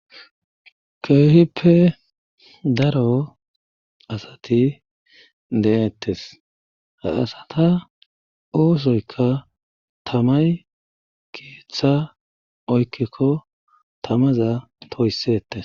keehippe daro asati de7ettes haasata oosoyka tamay keeththa oykkikko tamaza toyssetes